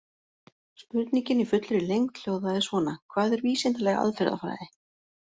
Spurningin í fullri lengd hljóðaði svona: Hvað er vísindaleg aðferðafræði?